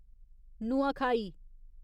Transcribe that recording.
Nuakhai